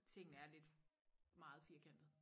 Tingene er lidt meget firkantet